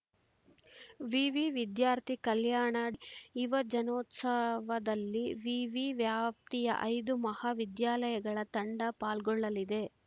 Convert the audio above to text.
ವಿವಿ ವಿದ್ಯಾರ್ಥಿ ಕಲ್ಯಾಣ ಯುವಜನೋತ್ಸವದಲ್ಲಿ ವಿವಿ ವ್ಯಾಪ್ತಿಯ ಐದು ಮಹಾವಿದ್ಯಾಲಯಗಳ ತಂಡ ಪಾಲ್ಗೊಳ್ಳಲಿದೆ